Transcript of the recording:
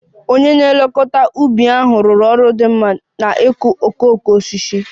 Onye na-elekọta ubi ahụ rụrụ ọrụ dị mma n'ịkụ okooko osisi